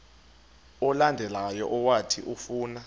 olandelayo owathi ufuna